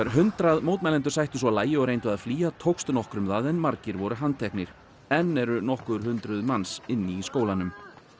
hundrað mótmælendur sættu svo lagi og reyndu að flýja tókst nokkrum það en margir voru handteknir enn eru nokkur hundruð manns í skólanum